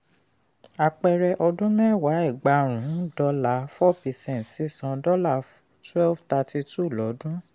àpẹẹrẹ: ọdún mẹ́wàá ẹgbàárún dọ́là four percent sísan twelve thirty two lọdún.